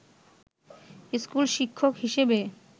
school শিক্ষক হিসাবে